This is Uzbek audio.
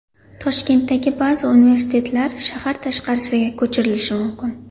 Toshkentdagi ba’zi universitetlar shahar tashqarisiga ko‘chirilishi mumkin.